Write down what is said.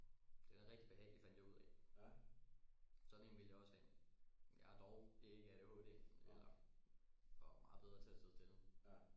Den er rigtig behagelig fandt jeg ud af sådan en vil jeg også have men jeg har dog ikke ADHD eller og er meget bedre til at sidde stille